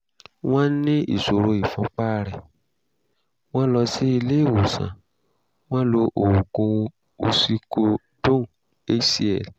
wọ́n ní ìṣòro ìfúnpá rẹ̀; wọ́n lọ sí ilé ìwòsàn; wọ́n lo oògùn oxycodone hcl